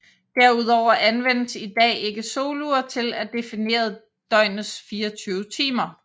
Herudover anvendes i dag ikke solure til at definere døgnets 24 timer